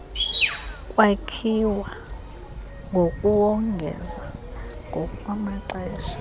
kwakhiwa ngokuwongeza ngokwamaxesha